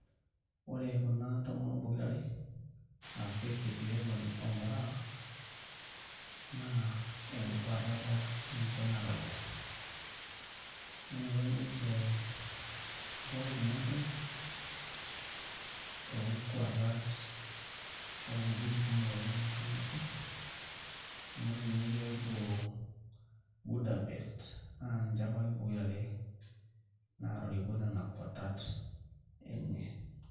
Ore kuna tomonok pokirare aa Faith Kipyegon o Moraa naa enkwatata ninche nalakita nenoto ninche gold medals toonkwatat oowuejitin kumok naashomoki, amu ore ninye pee epuo Buddapest naa ninche apa ake pokirare naatoriko nena kwatat enye.